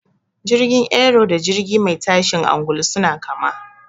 Jirgin Aero da jirgi mai tashin angulu suna kama.